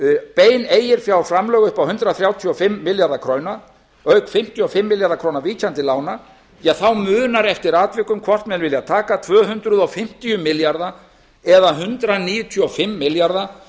bein eiginfjárframlög upp á hundrað þrjátíu og fimm milljarða króna auk fimmtíu og fimm milljarða króna minnkandi lána þá munar eftir atvikum hvort menn vilja taka tvö hundruð fimmtíu milljarða eða hundrað níutíu og fimm milljarða